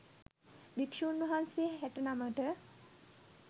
භික්‍ෂූන් වහන්සේ හැට නමට